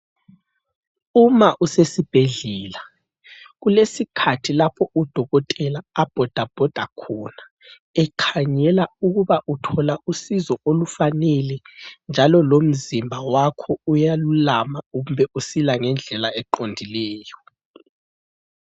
Uma usesibhedlela kulesikhathi lapho udokotela abhoda bhoda khona, ekhangela ukuba uthola usizo olufanele njalo lomzimba wakho uyalulama kumbe usila ngendlela eqondileyo.